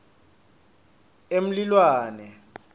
emlilwane